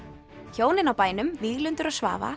hjónin á bænum Víglundur og Svava